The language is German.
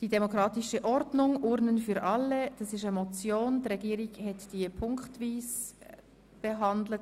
Die Regierung hat den Vorstoss punktweise behandelt.